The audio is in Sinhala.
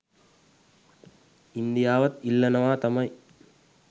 ඉන්දියාවත් ඉල්ලනවා තමයි